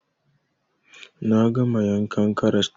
Na gama yankan karas ɗin